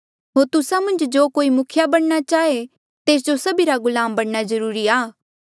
होर तुस्सा मन्झ जो कोई मुखिया बणना चाहे तेस जो सभिरा गुलाम बणना जरूरी आ